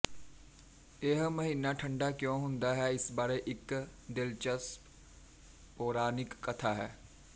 ਇਹ ਮਹੀਨਾ ਠੰਡਾ ਕਿਉਂ ਹੁੰਦਾ ਹੈ ਇਸ ਬਾਰੇ ਇੱਕ ਦਿਲਚਸਪ ਪੌਰਾਣਿਕ ਕਥਾ ਹੈ